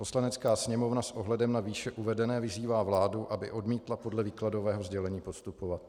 Poslanecká sněmovna s ohledem na výše uvedené vyzývá vládu, aby odmítla podle výkladového sdělení postupovat."